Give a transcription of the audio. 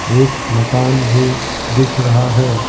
एक मकान भी दिख रहा है ।